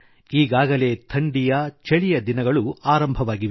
ಈಗಾಗಲೇ ಥಂಡಿಯ ಛಳಿಯ ದಿನಗಳು ಆರಂಭವಾಗಿವೆ